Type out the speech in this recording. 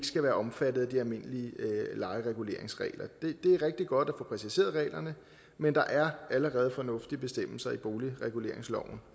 skal være omfattet af de almindelige lejereguleringsregler det er rigtig godt at få præciseret reglerne men der er allerede fornuftige bestemmelser i boligreguleringsloven